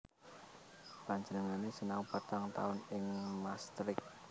Panjenengané sinau patang taun ing Maastricht